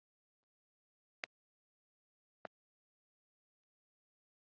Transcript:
Heyló syngur sumarið inn